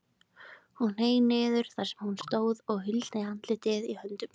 Hún hneig niður þar sem hún stóð og huldi andlitið í höndum sér.